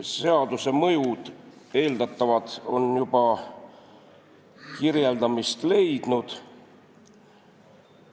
Seaduse eeldatavad mõjud on juba kirjeldamist leidnud.